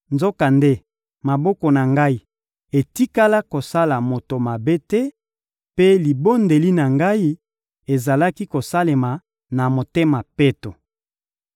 Nzokande, maboko na ngai etikala kosala moto mabe te, mpe libondeli na ngai ezalaki kosalema na motema peto.